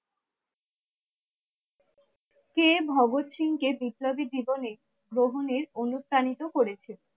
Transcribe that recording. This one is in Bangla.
কে ভগৎ সিং কে বিপ্লবী জীবনে বহনের অনুপ্রাণিত করেছিল?